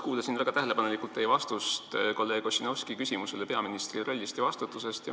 Kuulasin väga tähelepanelikult teie vastust kolleeg Ossinovski küsimusele peaministri rolli ja vastutuse kohta.